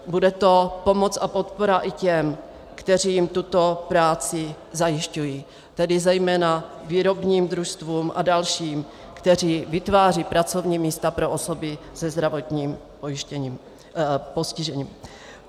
Bude to pomoc a podpora i těm, kteří jim tuto práci zajišťují, tedy zejména výrobním družstvům a dalším, kteří vytvářejí pracovní místa pro osoby se zdravotním postižením.